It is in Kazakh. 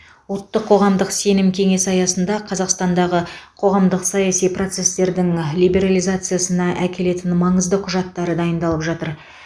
ұлттық қоғамдық сенім кеңесі аясында қазақстандағы қоғамдық саяси процестердің либерализациясына әкелетін маңызды құжаттар дайындалып жатыр